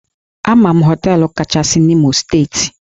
Ama m hóteélụ̀ kachasị na Imo steeti